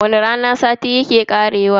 Wani rana sati yake karewa.